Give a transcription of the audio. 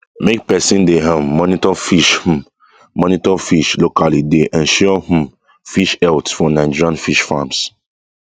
make person dey um monitor fish um monitor fish locally dey ensure um fish health for nigerian fish farms